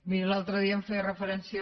miri l’altre dia hi feia referència